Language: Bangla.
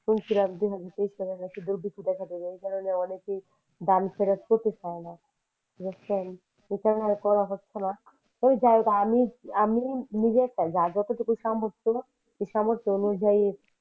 এই কারণে অনেকেই বারি ছেড়ে জেতে ছাইনা বুজছেন আর করা হচ্ছে না তো যাই হোক আমি আমি নিজের টাই যার যতটুকু সামর্থ্য সে সামর্থ্য অনুযায়ী